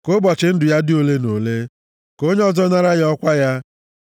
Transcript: Ka ụbọchị ndụ ya dị ole na ole, ka onye ọzọ nara ya ọkwa ya.